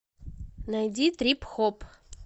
найди трип хоп